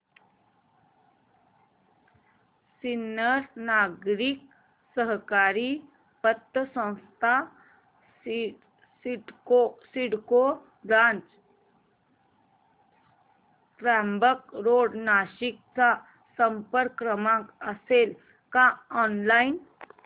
सिन्नर नागरी सहकारी पतसंस्था CIDCO branch Trimbak road Nashik चा संपर्क क्रमांक असेल का ऑनलाइन